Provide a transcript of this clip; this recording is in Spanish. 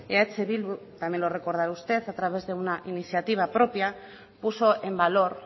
eh bildu también lo recordará usted a través de una iniciativa propia puso en valor